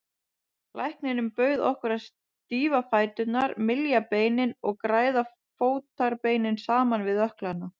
Læknirinn bauð okkur að stífa fæturna, mylja beinin og græða fótarbeinin saman við ökklana.